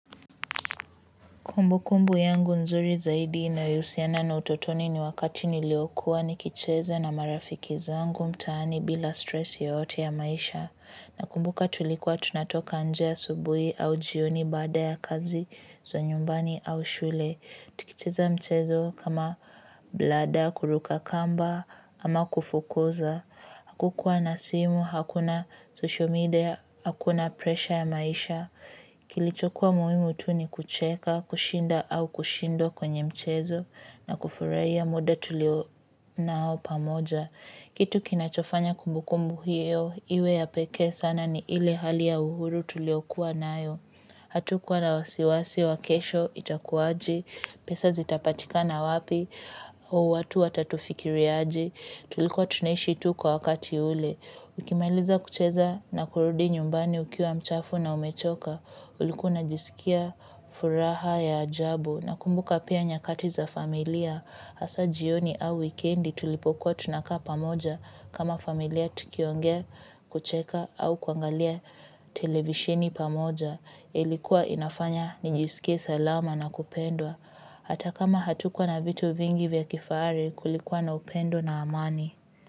Kumbukumbu yangu nzuri zaidi inayohusiana na utotoni ni wakati niliokuwa nikicheza na marafiki zangu mtaani bila stress yoyote ya maisha. Nakumbuka tulikuwa tunatoka nje asubuhi au jioni baada ya kazi za nyumbani au shule. Tukicheza mchezo kama blada, kuruka kamba ama kufukuza. Hakukua na simu, hakuna social media, hakuna presha ya maisha. Kilichokuwa muhimu tu ni kucheka, kushinda au kushindwa kwenye mchezo na kufurahia muda tulio nao pamoja. Kitu kinachofanya kumbukumbu hiyo, iwe ya pekee sana ni ile hali ya uhuru tuliokuwa nayo. Hatukuwa na wasiwasi, wa kesho, itakuwaje, pesa zitapatika na wapi, au watu watatufikiriaje, tulikuwa tunaishi tu kwa wakati ule. Ukimaliza kucheza na kurudi nyumbani ukiwa mchafu na umechoka ulikuwa unajisikia furaha ya ajabu na kumbuka pia nyakati za familia hasa jioni au wikendi tulipokuwa tunakaa pamoja kama familia tukiongea kucheka au kuangalia televisheni pamoja ilikuwa inafanya nijisikie salama na kupendwa hata kama hatukuwa na vitu vingi vya kifahari kulikuwa na upendo na amani.